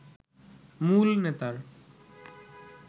মূল নেতার